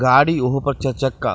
गाड़ी ओहु पर चर चक्का।